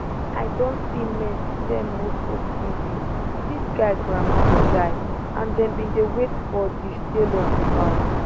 i don see men sell motor tv dis guy grandma die and dem bin dey wait for for di sale of di house